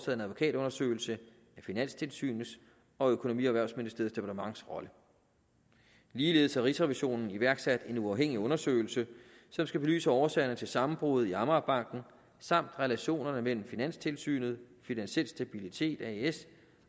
en advokatundersøgelse af finanstilsynets og økonomi og erhvervsministeriets departements rolle ligeledes har rigsrevisionen iværksat en uafhængig undersøgelse som skal belyse årsagerne til sammenbruddet i amagerbanken samt relationerne mellem finanstilsynet finansiel stabilitet as